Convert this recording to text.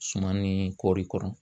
Suman ni kɔɔri kɔrɔ.